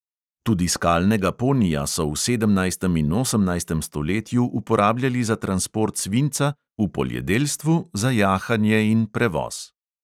Tudi skalnega ponija so v sedemnajstem in osemnajstem stoletju uporabljali za transport svinca, v poljedelstvu, za jahanje in prevoz.